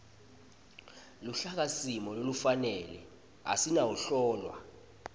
luhlakasimo lolufanele asinawuhlolwa